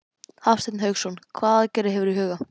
Hafsteinn Hauksson: Hvaða aðgerðir hefurðu í huga?